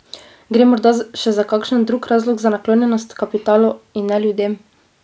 Gre morda še za kakšen drug razlog za naklonjenost kapitalu in ne ljudem?